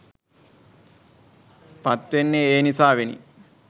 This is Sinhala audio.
පත්වෙන්නේ ඒ නිසාවෙනි